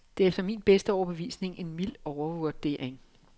Det er efter min bedste overbevisning en mild overvurdering.